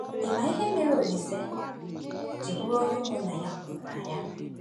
Ị̀ ma ihe mere Olise ji bụrụ onye ụmụnna ya hụrụ n’anya?